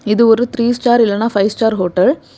இது ஒரு three star இல்லனா பைவ் ஸ்டார் ஹோட்டல் .